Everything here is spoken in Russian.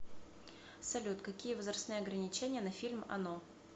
салют какие возрастные ограничения на фильм оно